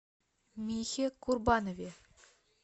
михе курбанове